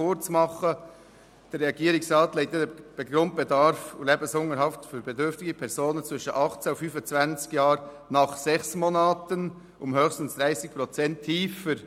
Der Regierungsrat legt den Grundbedarf für den Lebensunterhalt für bedürftige Personen zwischen 18 und 25 Jahren nach sechs Monaten um höchstens 30 Prozent tiefer.